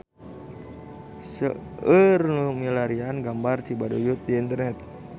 Seueur nu milarian gambar Cibaduyut di internet